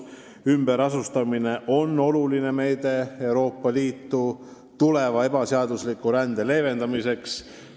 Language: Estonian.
" Ümberasustamine on oluline meede Euroopa Liitu tabanud ebaseadusliku sisserände leevendamiseks.